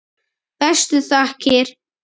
Bestu þakkir.